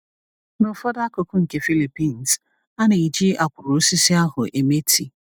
N’ụfọdụ akụkụ nke Philippines, a na-eji akwụrụ osisi ahụ eme tii.